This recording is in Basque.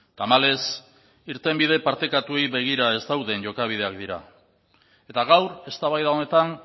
tamalez irtenbide partekatuei begira ez dauden jokabideak dira eta gaur eztabaida honetan